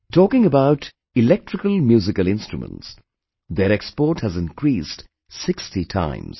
Talking about Electrical Musical Instruments; their export has increased 60 times